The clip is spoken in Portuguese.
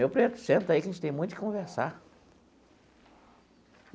Meu preto, senta aí que a gente tem muito o que conversar.